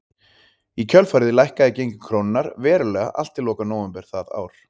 Í kjölfarið lækkaði gengi krónunnar verulega allt til loka nóvember það ár.